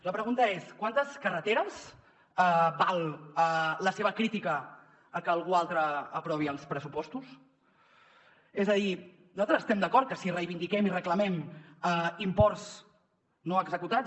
la pregunta és quantes carreteres val la seva crítica a que algú altre aprovi els pressupostos és a dir nosaltres estem d’acord que si reivindiquem i reclamem imports no executats